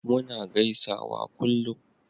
muna gaisawa kullum